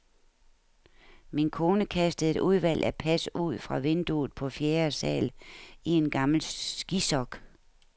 Min kone kastede et udvalg af pas ud fra vinduet på fjerde sal i en gammel skisok.